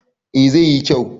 eh zai yi kyau